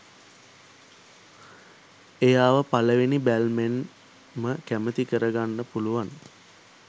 එයාව පලවෙනි බැල්මෙන්ම කැමති කරගන්න පුළුවන්